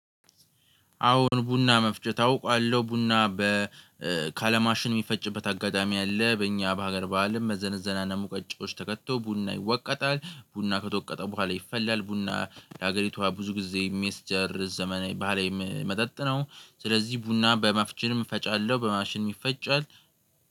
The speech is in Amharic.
አሁን ቡና መፍጨት አውቃለሁ። ቡና በ ካለማሽን የሚፈጭበት አጋጣሚ አለ። በእኛ በሀገር በዓልም በመዘነዘና እና ሙቀጫዎች ተከትቶ ቡና ይወቀጣል ቡና ከተወቀጠ በኋላ ይፈላል። ቡና ለሀገሪቷ ብዙ ጊዜ 'ሜስቸር' ዘመን ባህላዊ መጠጥ ነው። ስለዚህ ቡና በ'ማፍችንም' እፈጫለሁ በማሽንም ይፈጫል።